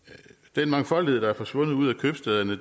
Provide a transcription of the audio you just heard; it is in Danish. den mangfoldighed der er forsvundet ud af købstæderne